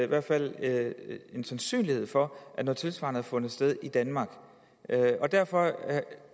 hvert fald en sandsynlighed for at noget tilsvarende har fundet sted i danmark derfor